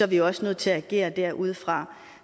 vi også nødt til at agere derudfra